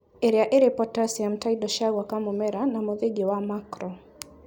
ĩrĩa ĩrĩ potassium ta indo cia gwaka mũmera na mũthingi wa macro